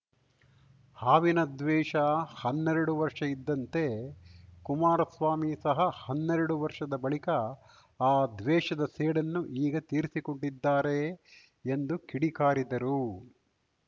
ಹಾವಿನ ದ್ವೇಷ ಹನ್ನೆರಡು ವರ್ಷ ಇದ್ದಂತೆ ಕುಮಾರಸ್ವಾಮಿ ಸಹ ಹನ್ನೆರಡು ವರ್ಷದ ಬಳಿಕ ಆ ದ್ವೇಷದ ಸೇಡನ್ನು ಈಗ ತೀರಿಸಿಕೊಂಡಿದ್ದಾರೆ ಎಂದು ಕಿಡಿಕಾರಿದರು